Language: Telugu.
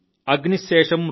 అగ్ని శేషం